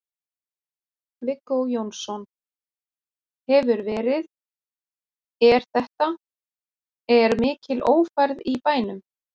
Viggó Jónsson: Hefur verið, er þetta, er mikil ófærð í bænum?